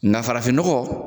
Nka farafin nɔgɔ